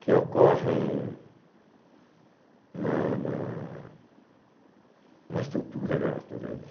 que ocorrem na na na estrutura da natureza.